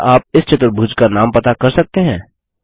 क्या आप इस चतुर्भुज का नाम पता कर सकते हैं